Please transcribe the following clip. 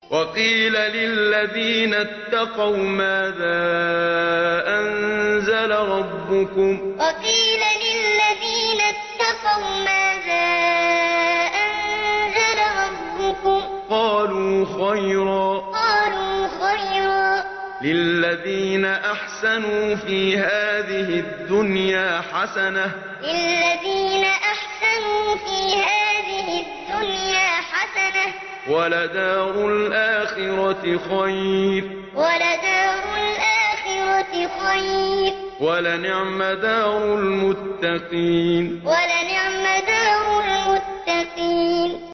۞ وَقِيلَ لِلَّذِينَ اتَّقَوْا مَاذَا أَنزَلَ رَبُّكُمْ ۚ قَالُوا خَيْرًا ۗ لِّلَّذِينَ أَحْسَنُوا فِي هَٰذِهِ الدُّنْيَا حَسَنَةٌ ۚ وَلَدَارُ الْآخِرَةِ خَيْرٌ ۚ وَلَنِعْمَ دَارُ الْمُتَّقِينَ ۞ وَقِيلَ لِلَّذِينَ اتَّقَوْا مَاذَا أَنزَلَ رَبُّكُمْ ۚ قَالُوا خَيْرًا ۗ لِّلَّذِينَ أَحْسَنُوا فِي هَٰذِهِ الدُّنْيَا حَسَنَةٌ ۚ وَلَدَارُ الْآخِرَةِ خَيْرٌ ۚ وَلَنِعْمَ دَارُ الْمُتَّقِينَ